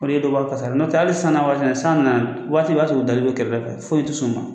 O de ye dɔ b'o a kasara la n'o tɛ hali sanna waati ni san nana waati b'a sɔrɔ u dalen bɛ kɛrɛfɛ foyi tɛ s'u ma